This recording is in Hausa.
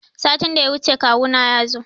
Satin da ya wuce kawu na yazo.